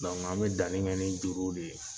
an bɛ danni kɛ ni juruw de ye.